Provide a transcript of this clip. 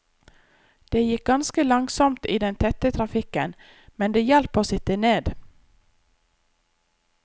Det gikk ganske langsomt i den tette trafikken, men det hjalp å sitte ned.